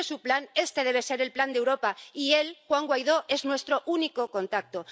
Si este es su plan, este debe ser el plan de Europa y él, Juan Guaidó, es nuestro único contacto.